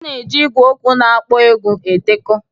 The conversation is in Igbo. A na-eji igwe okwu na-akpọ egwu edekọ